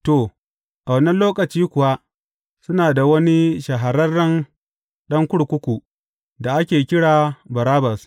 To, a wannan lokaci kuwa suna da wani shahararren ɗan kurkuku da ake kira Barabbas.